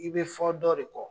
I bɛ fɔ dɔ de kɔ.